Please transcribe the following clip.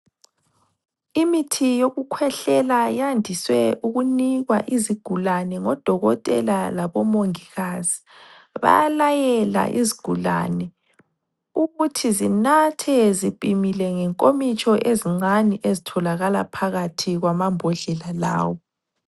Imithi yokukhwehlela yandiswe ukunikwa izigulane ngodokotela labomongikazi. Bayalayela izigulane ukuthi zinathe zipimile ngenkomitsho ezincane ezitholakala phakathi kwamambodlela lawo.